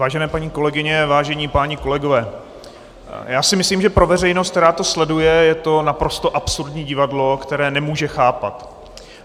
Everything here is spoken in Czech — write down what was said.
Vážené paní kolegyně, vážení páni kolegové, já si myslím, že pro veřejnost, která to sleduje, je to naprosto absurdní divadlo, které nemůže chápat.